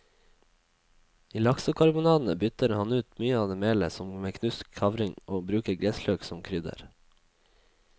I laksekarbonadene bytter han ut mye av melet med knust kavring og bruker gressløk som krydder.